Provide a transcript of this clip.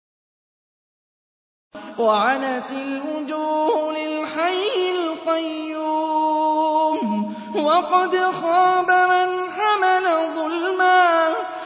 ۞ وَعَنَتِ الْوُجُوهُ لِلْحَيِّ الْقَيُّومِ ۖ وَقَدْ خَابَ مَنْ حَمَلَ ظُلْمًا